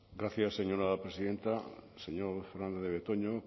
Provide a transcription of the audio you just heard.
gracias señora presidenta señor fernandez de betoño